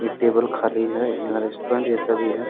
ये टेबल खाली है यहाँ रेस्टुरेंट जैसा भी है ।